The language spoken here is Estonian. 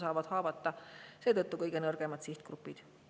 Seetõttu saavad haavata kõige nõrgemad sihtgrupid.